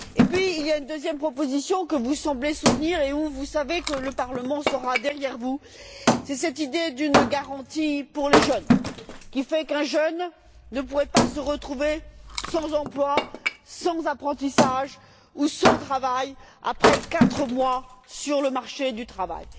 Et puis, il y a une deuxième proposition que vous semblez soutenir, pour laquelle vous savez que le Parlement sera derrière vous, c'est cette idée d'une garantie pour les jeunes, qui fait qu'un jeune ne pourrait pas se retrouver sans emploi, sans apprentissage ou sans travail après quatre mois sur le marché du travail.